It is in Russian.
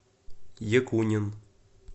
якунин